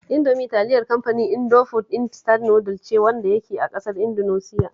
Indomie talilar kamfanin Indofood Instant Noodles ce wanda yake a ƙasar Indunusiya